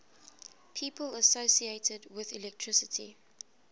people associated with electricity